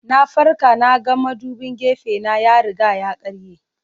Na farka na ga madubin gefena ya riga ya karye.